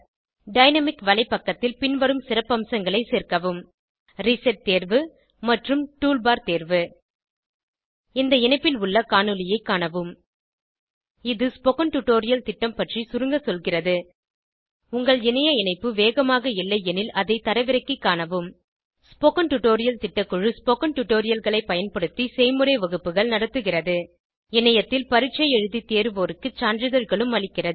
dynamic வலைப்பக்கத்தில் பின்வரும் சிறப்பம்சங்களை சேர்க்கவும் ரிசெட் தேர்வு மற்றும் டூல் பார் தேர்வு இந்த இணைப்பில் உள்ள காணொளியைக் காணவும் இது ஸ்போகன் டுடோரியல் திட்டம் பற்றி சுருங்க சொல்கிறது உங்கள் இணைய இணைப்பு வேகமாக இல்லையெனில் அதை தரவிறக்கிக் காணவும் ஸ்போகன் டுடோரியல் திட்டக்குழு ஸ்போகன் டுடோரியல்களைப் பயன்படுத்தி செய்முறை வகுப்புகள் நடத்துகிறது இணையத்தில் பரீட்சை எழுதி தேர்வோருக்கு சான்றிதழ்களும் அளிக்கிறது